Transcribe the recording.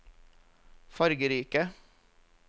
fargerike